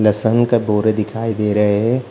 लहसन का बोरे दिखाई दे रहे है।